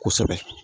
Kosɛbɛ